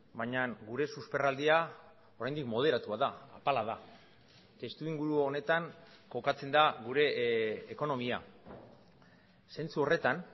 baina gure susperraldia oraindik moderatua da apala da testuinguru honetan kokatzen da gure ekonomia zentzu horretan